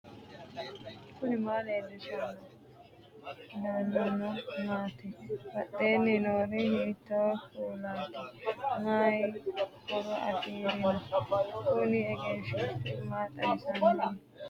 knuni maa leellishanno ? danano maati ? badheenni noori hiitto kuulaati ? mayi horo afirino ? kuni egenshshiishi ma xawisannohika